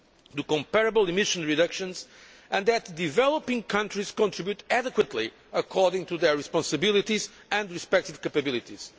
to comparable emission reductions and that developing countries contribute adequately according to their responsibilities and respected capabilities.